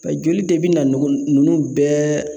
Pa joli de bɛ na nɔgɔ nunnu bɛɛ